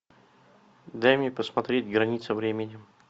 дай мне посмотреть граница времени